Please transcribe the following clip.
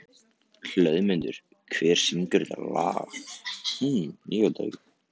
Hlöðmundur, hver syngur þetta lag?